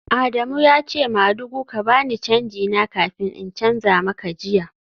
Adamu ya ce madugu ka ba ni canji na kafin in canza maka jiya